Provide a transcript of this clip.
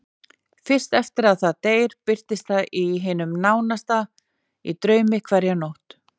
Fyrst eftir að það deyr birtist það hinum nánasta í draumi hverja nótt.